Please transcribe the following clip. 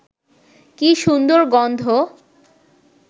কী সুন্দর গন্ধ